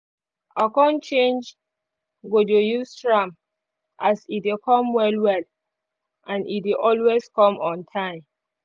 i con change go dey use tram as e dey come well well and e dey always come on time